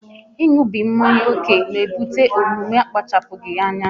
ịṅụbiga mmanya ókè na ebute omume akpachapụghị anya